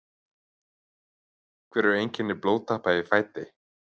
hver eru einkenni blóðtappa í fæti